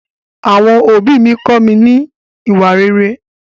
Àwọn òbí mi kọ mí kín ní ìwà rere.